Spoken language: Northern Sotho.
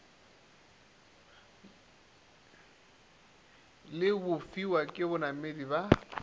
le bofiwa ke banamedi ba